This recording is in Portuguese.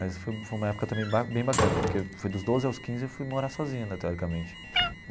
Mas foi foi uma época também ba bem bacana, porque fui dos doze aos quinze e fui morar sozinho né, teoricamente.